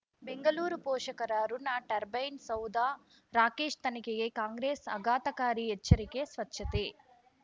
ಬೆಂಗಳೂರು ಪೋಷಕರಋಣ ಟರ್ಬೈನ್ ಸೌಧ ರಾಕೇಶ್ ತನಿಖೆಗೆ ಕಾಂಗ್ರೆಸ್ ಆಘಾತಕಾರಿ ಎಚ್ಚರಿಕೆ ಸ್ವಚ್ಛತೆ